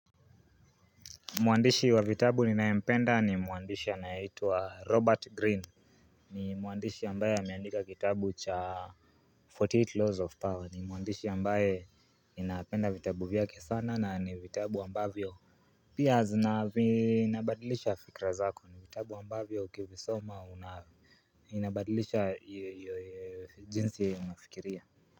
Mwandishi wa vitabu ninaempenda ni mwandishi anaeitwa Robert Greene ni mwandishi ambaye ameandika kitabu cha 48 laws of power ni mwandishi ambaye ninapenda vitabu vyake sana na ni vitabu ambavyo Pia zinavi inabadilisha fikra zako ni vitabu ambavyo ukivisoma unavi inabadilisha jinsi unafikiria.